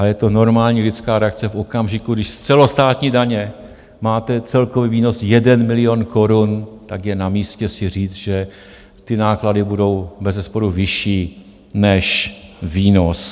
Ale je to normální lidská reakce v okamžiku, když z celostátní daně máte celkový výnos 1 milion korun, tak je na místě si říct, že ty náklady budou bezesporu vyšší než výnos.